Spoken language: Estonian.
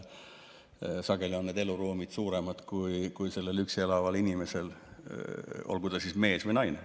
Sageli on need eluruumid suuremad kui sellel üksi elaval inimesel, olgu ta mees või naine.